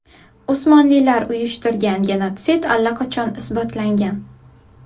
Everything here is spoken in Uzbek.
Usmonlilar uyushtirgan genotsid allaqachon isbotlangan.